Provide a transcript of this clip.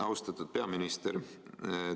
Austatud peaminister!